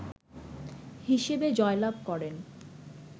হিসেবে জয়লাভ করেন